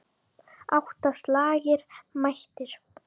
Átta slagir mættir.